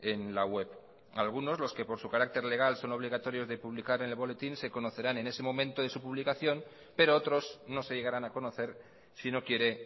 en la web algunos los que por su carácter legal son obligatorios de publicar en el boletín se conocerán en ese momento de su publicación pero otros no se llegarán a conocer si no quiere